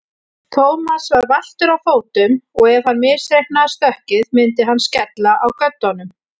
Thomas var valtur á fótum og ef hann misreiknaði stökkið myndi hann skella á göddunum.